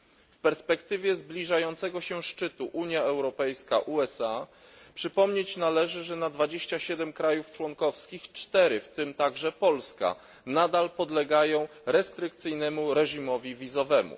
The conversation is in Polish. W perspektywie zbliżającego się szczytu Unia Europejska USA przypomnieć należy, że na 27 krajów członkowskich 4, w tym także Polska, nadal podlegają restrykcyjnemu reżimowi wizowemu.